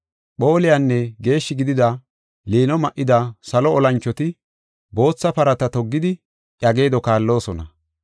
Phooliyanne geeshshi gidida liino ma7ida salo olanchoti bootha parata toggidi iya geedo kaalloosona.